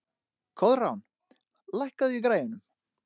Koðrán, lækkaðu í græjunum.